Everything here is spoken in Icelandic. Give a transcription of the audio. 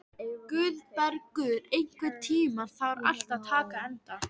Guðbergur, einhvern tímann þarf allt að taka enda.